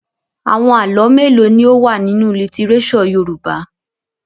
Àwọn àlọ́ mélòó ni ó wà nínú lítíréṣọ̀ Yorùbá?